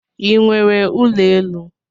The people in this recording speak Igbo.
I nwere ụlọ elu?